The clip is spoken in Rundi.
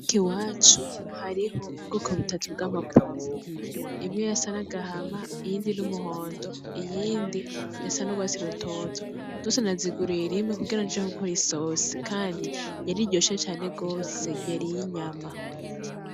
Iwacu hariho ubwoko butatu bwama pwavuro :imwe yasa nagahama ,iyindi n'umuhondo ,iyindi yasa n"urwatsi rutoto zose naziguriye rimwe kugira nje gukor isosi kandi yariryoshe cane yariryoshe cane gose yar'inyama.